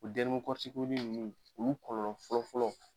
U nunnu ulu kɔlɔlɔ fɔlɔfɔlɔ.